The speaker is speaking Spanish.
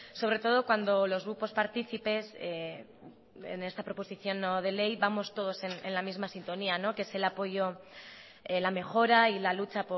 sobre todo cuando los grupos partícipes en esta proposición no de ley vamos todos en la misma sintonía que es el apoyo la mejora y la lucha